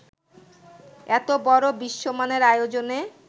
এত বড় বিশ্বমানের আয়োজনে